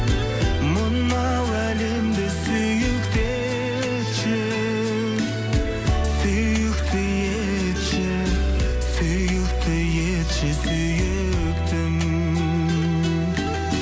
мынау әлемді сүйікті етші сүйікті етші сүйікті етші сүйіктім